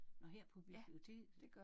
Nåh her på biblioteket?